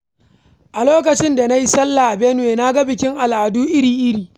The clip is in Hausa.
A lokacin da na yi sallah a Benue, na ga bikin al’adu iri-iri.